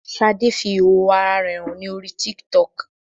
Ṣadé fi ìhòhò ara rẹ hàn ní orí TikTok